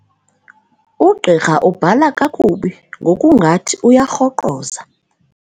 Ugqirha ubhala kakubi ngokungathi uyarhoqoza.